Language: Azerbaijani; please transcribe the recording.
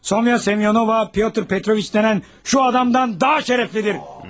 Sonya Semyonova, Piotr Petroviç denən şu adamdan daha şərəflidir.